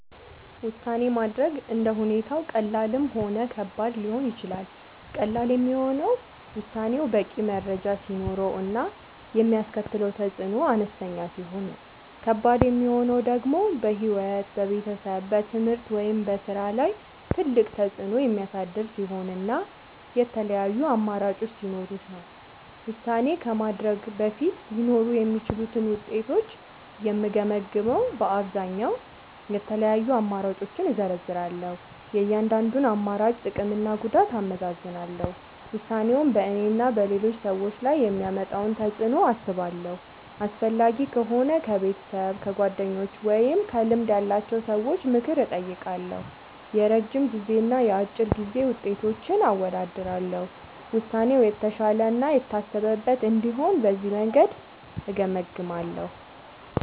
ውሳኔ ማድረግ እንደ ሁኔታው ቀላልም ሆነ ከባድም ሊሆን ይችላል። ቀላል የሚሆነው ውሳኔው በቂ መረጃ ሲኖረው እና የሚያስከትለው ተፅዕኖ አነስተኛ ሲሆን ነው። ከባድ የሚሆነው ደግሞ በሕይወት፣ በቤተሰብ፣ በትምህርት ወይም በሥራ ላይ ትልቅ ተፅዕኖ የሚያሳድር ሲሆን እና የተለያዩ አማራጮች ሲኖሩት ነው። ውሳኔ ከማድረግ በፊት ሊኖሩ የሚችሉትን ውጤቶች የምገመግመዉ በአብዛኛዉ፦ የተለያዩ አማራጮችን እዘረዝራለሁ። የእያንዳንዱን አማራጭ ጥቅምና ጉዳት አመዛዝናለሁ። ውሳኔው በእኔና በሌሎች ሰዎች ላይ የሚያመጣውን ተፅዕኖ አስባለሁ። አስፈላጊ ከሆነ ከቤተሰብ፣ ከጓደኞች ወይም ከልምድ ያላቸው ሰዎች ምክር እጠይቃለሁ። የረጅም ጊዜና የአጭር ጊዜ ውጤቶችን አወዳድራለሁ። ውሳኔው የተሻለ እና የታሰበበት እንዲሆን በዚህ መንገድ እገመግማለሁ።